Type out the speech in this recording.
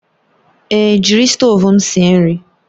Èé, jiri stovu m sie nri